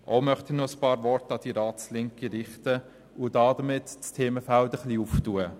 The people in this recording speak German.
Auch möchte ich noch ein paar Worte an die Ratslinke richten und damit das Themenfeld ein wenig öffnen.